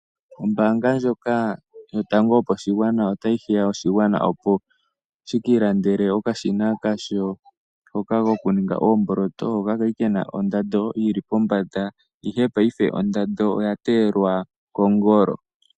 Ombaanga ndjoka yotango yopashingwana otayi hiya oshingwana opo ye ki ilandele okashina hoka kokuninga oomboloto, hoka ka li ke na ondando yi li pombanda, ihe paife ondando oya teyelwa kongolo.